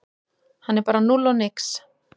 Hann er bara núll og nix